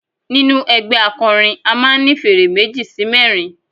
Nínú ẹgbẹ́ akọrin a máà ń ní fèrè meji sí mẹrin.